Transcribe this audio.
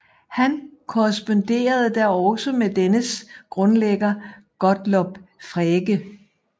Han korresponderede da også med dennes grundlægger Gottlob Frege